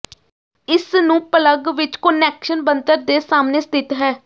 ਇਸ ਨੂੰ ਪਲੱਗ ਵਿਚ ਕੁਨੈਕਸ਼ਨ ਬਣਤਰ ਦੇ ਸਾਹਮਣੇ ਸਥਿਤ ਹੈ